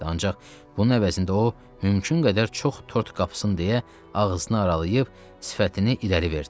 ancaq bunun əvəzində o mümkün qədər çox tort qapısın deyə ağzını aralayıb sifətini irəli verdi.